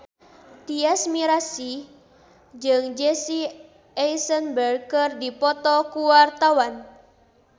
Tyas Mirasih jeung Jesse Eisenberg keur dipoto ku wartawan